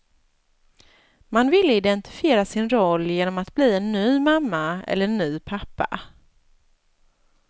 Man ville identifiera sin roll genom att bli en ny mamma eller en ny pappa.